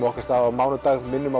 okkar stað á mánudag minnum á